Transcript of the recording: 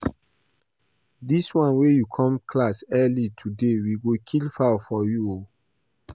Dis wan you come class early today we go kill fowl for you oo